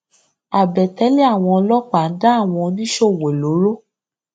àbètélè àwọn ọlọpàá ń dá àwọn oníṣòwò lóró